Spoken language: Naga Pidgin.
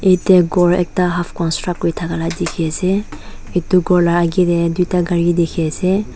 yatae ghor ekta construct kuri thaka la dikhiase edu ghor la akae tae tuita gari dikhi ase.